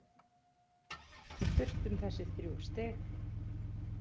Við þurftum þessi þrjú stig.